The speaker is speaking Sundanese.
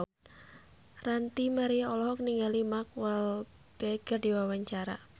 Ranty Maria olohok ningali Mark Walberg keur diwawancara